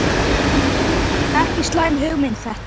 Ekki slæm hugmynd þetta.